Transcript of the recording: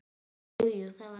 Jú, jú, það var gaman.